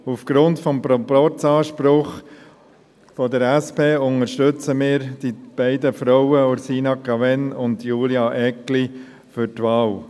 Aufgrund des Proporzanspruchs der SP unterstützen wir die beiden Frauen Ursina Cavegn und Julia Eggli bei der Wahl.